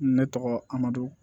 Ne tɔgɔ amadu